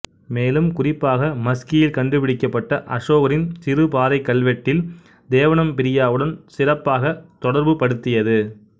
மேலும் குறிப்பாக மஸ்கியில் கண்டுபிடிக்கபட்ட அசோகரின் சிறு பாறைக் கல்வெட்டடில் தேவனம்பிரியாவுடன் சிறப்பாக தொடர்புபடுத்தியது